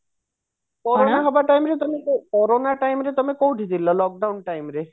corona time ରେ ତମେ କୋଉଠି ଥିଲ lockdown time ରେ